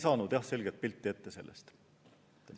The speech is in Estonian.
Aga jah, selget pilti me sellest ei saanud.